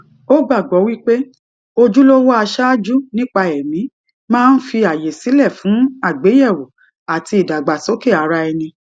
ó gbàgbọ wípé ojúlówó aṣáájú nípa ẹmí máa ń fi àyè sílẹ fún àgbéyẹwò àti ìdàgbàsókè ara ẹni